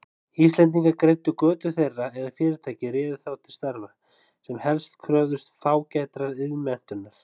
Íslendingar greiddu götu þeirra eða fyrirtæki réðu þá til starfa, sem helst kröfðust fágætrar iðnmenntunar.